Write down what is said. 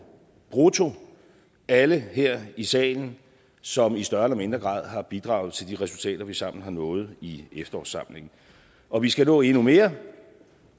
brutto alle her i salen som i større eller mindre grad har bidraget til de resultater vi sammen har nået i efterårssamlingen og vi skal nå endnu mere